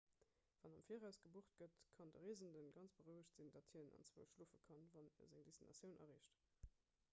wann am viraus gebucht gëtt kann de reesende ganz berouegt sinn datt hien anzwousch schlofe kann wann e seng destinatioun erreecht